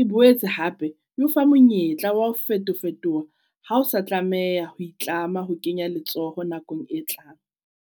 E boetse hape e ofa monyetla wa ho feto-fetoha ha o sa tlameha ho itlama ho kenya letsoho nakong e tlang.